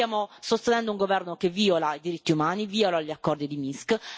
Stiamo sostenendo un governo che viola i diritti umani, viola gli accordi di Minsk.